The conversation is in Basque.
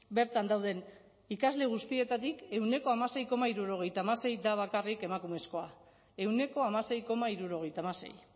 bertan dauden ikasle guztietatik ehuneko hamasei koma hirurogeita hamasei da bakarrik emakumezkoa ehuneko hamasei koma hirurogeita hamasei